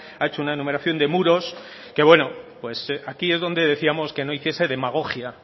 ha hecho una enumeración de muros que bueno pues aquí es donde decíamos que no hiciese demagogia